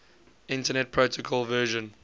internet protocol version